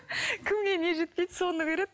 кімге не жетпейді соны көреді